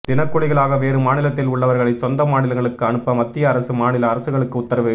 தினக்கூலிகளாக வேறு மாநிலத்தில் உள்ளவர்களை சொந்த மாநிலங்களுக்கு அனுப்ப மத்திய அரசு மாநில அரசுகளுக்கு உத்தரவு